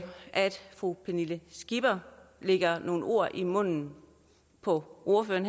fru pernille skipper lægger nogle ord i munden på ordføreren